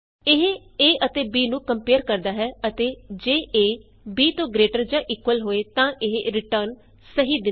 ਇਹ a ਅਤੇ b ਨੂੰ ਕੰਪਏਅਰ ਕਰਦਾ ਹੈ ਅਤੇ ਜੇ ਏ b ਤੋਂ ਗਰੇਟਰ ਜਾਂ ਇਕੁਅਲ ਹੋਵੇ ਤਾਂ ਇਹ ਰਿਟਰਨ ਸਹੀ ਦਿੰਦਾ ਹੈ